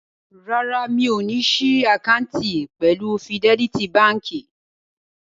Rárá, mi ò ní ṣí àkáǹtì pẹ̀lú Fidẹ́lítí baǹkì.